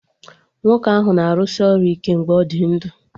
Nwoke ahụ na-arụsị ọrụ ike mgbe ọ dị ndụ